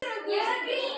Og blaðið heldur áfram